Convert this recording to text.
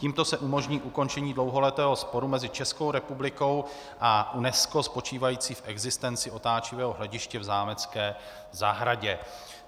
Tímto se umožní ukončení dlouholetého sporu mezi Českou republikou a UNESCO spočívající v existenci otáčivého hlediště v zámecké zahradě.